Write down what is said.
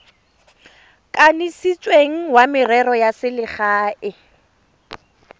kanisitsweng wa merero ya selegae